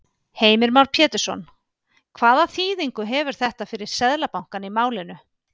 Heimir Már Pétursson: Hvaða þýðingu hefur þetta fyrir Seðlabankann í málinu?